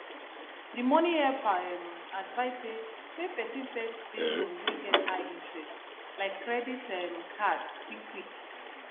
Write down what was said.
the money helper um advise say make person first pay loan wey get high interest like credit um card quick quick